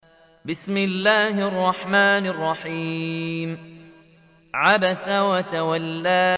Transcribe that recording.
عَبَسَ وَتَوَلَّىٰ